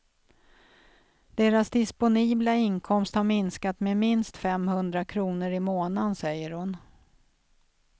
Deras disponibla inkomst har minskat med minst femhundra kronor i månaden, säger hon.